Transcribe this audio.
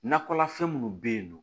Nakɔlafɛn minnu bɛ yen nɔ